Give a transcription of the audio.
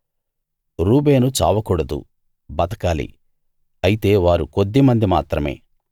రూబేను చావకూడదు బతకాలి అయితే వారు కొద్ది మంది మాత్రమే